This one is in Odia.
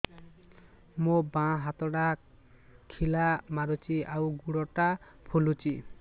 ମୋ ବାଆଁ ହାତଟା ଖିଲା ମାରୁଚି ଆଉ ଗୁଡ଼ ଟା ଫୁଲୁଚି